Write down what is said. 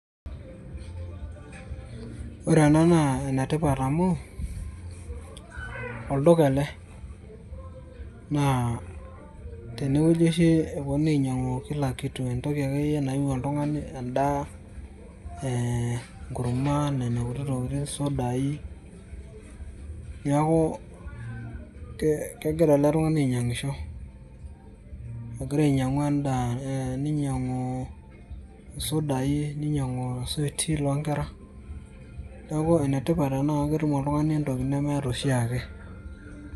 Ore ena naa enetipat amu, olduka ele. Naa tenewueji oshi eponunui ainyang'u kila kitu ,entoki akeyie nayieu oltung'ani, endaa, enkurma, nena kuti tokiting',sudai. Neeku kegira ele tung'ani ainyang'isho. Egira ainyang'u endaa, eh ninyang'u sudai, ninyang'u suiti lonkera, neeku enetipat ena amu ketum oltung'ani entoki nemeeta oshiake.